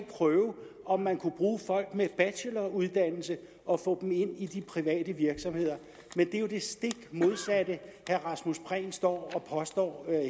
prøve om man kunne bruge folk med en bacheloruddannelse og få dem ind i de private virksomheder men det er jo det stik modsatte herre rasmus prehn står og påstår